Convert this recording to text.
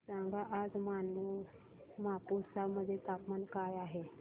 सांगा आज मापुसा मध्ये तापमान काय आहे